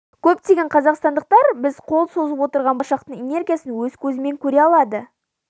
көптеген қазақстандықтар біз қол созып отырған болашақтың энергиясын өз көзімен көре алады